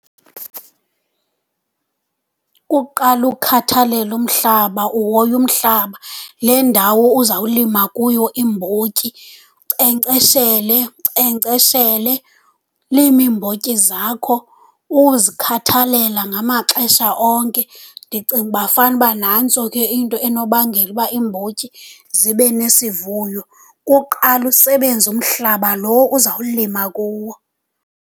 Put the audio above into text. Kukuqala ukhathalele umhlaba, uhoye umhlaba, le ndawo uzawulima kuyo iimbotyi. Unkcenkceshele, unkcenkceshele, ulime iimbotyi zakho uzikhathalela ngamaxesha onke. Ndicinga uba fanuba nantso ke into enobangela uba iimbotyi zibe nesivuyo, kukuqala usebenze umhlaba lo uzawulima kuwo.